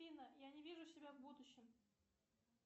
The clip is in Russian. афина я не вижу себя в будущем